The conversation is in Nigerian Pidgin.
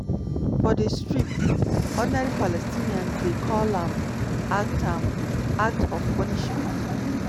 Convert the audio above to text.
for di strip ordinary palestinians dey call am act am act of punishment.